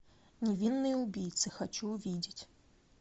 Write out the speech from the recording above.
невинные убийцы хочу увидеть